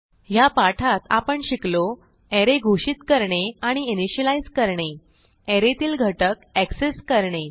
ह्या पाठात आपण शिकलो अरे घोषित करणे आणि initializeकरणे अरे तील घटक एक्सेस करणे